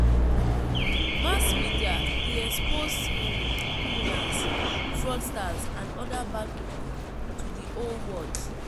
Mass media de expose um criminals, fraudsters and other bad pipo to di whole world